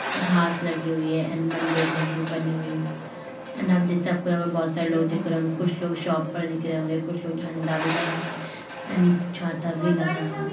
घास लगी हुई है एंड मंदिर लगी बनी हुई है एंड आपको बहुत सारे लोग दिख रहे होंगे कुछ लोग शॉप पर दिख रहे होंगे कुछ लोग झंडा भी लगाए एंड छाता भी लगा है।